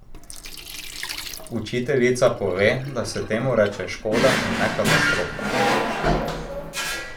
Učiteljica pove, da se temu reče škoda in ne katastrofa.